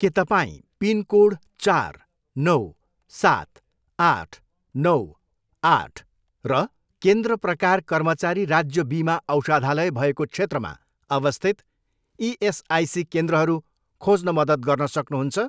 के तपाईँँ पिनकोड चार, नौ, सात, आठ, नौ, आठ र केन्द्र प्रकार कर्मचारी राज्य बिमा औषधालय भएको क्षेत्रमा अवस्थित इएसआइसी केन्द्रहरू खोज्न मद्दत गर्न सक्नुहुन्छ?